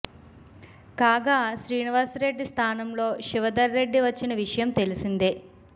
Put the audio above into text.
కాగా శ్రీనివాస్ రెడ్డి స్థానంలో శివధర్ రెడ్డి వచ్చిన విషయం తెలిసిందే